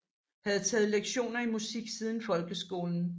Havde taget lektioner i musik siden folkeskolen